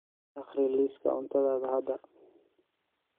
akhri liiska cuntadayda hadda